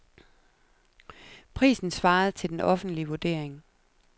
Prisen svarede til den offentlige vurdering.